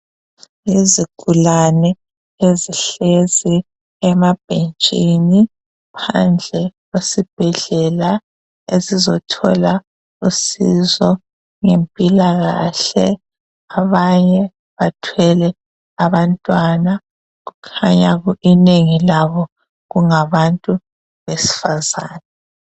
Izigulane ezihlezi emabhentshini phandle kwesibhedlela esizothola usizo ngempilakahle, abanye bathwele abantwana kukhanya inengi labo kungabantu besifazana.